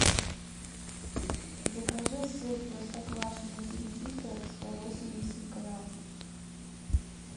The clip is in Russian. закажи сыр простоквашино тильзитер сто восемьдесят грамм